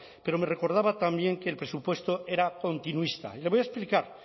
pero me recordaba también que el presupuesto era continuista le voy a explicar